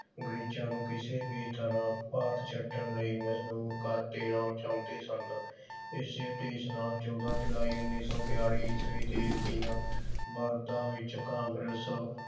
ਅੰਗਰੇਜ਼ਾਂ ਨੂੰ ਕਿਸੇ ਵੀ ਤਰ੍ਹਾਂ ਭਾਰਤ ਛੱਡਣ ਲਈ ਮਜਬੂਰ ਕਰ ਦੇਣਾ ਚਾਹੁੰਦੇ ਸਨ। ਇਸੇ ਉਦੇਸ਼ ਨਾਲ ਚੌਂਦਾ ਜੁਲਾਈ ਉਨੀ ਸੌ ਬਿਆਲੀ ਈਸਵੀ ਤੇ ਤਿੰਨ ਵਿਚ ਕਾਂਗਰਸ